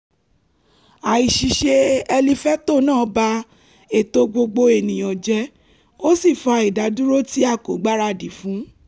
àìṣiṣẹ́ ẹlifétọ̀ náà ba ètò gbogbo ènìyàn jẹ́ ó sì fa ìdádúró tí a kò gbáradì fún